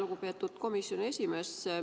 Lugupeetud komisjoni esimees!